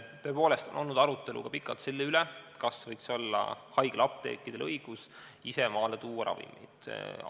Tõepoolest on olnud pikalt arutelu selle üle, kas haiglaapteekidel võiks olla õigus ravimeid ise maale tuua.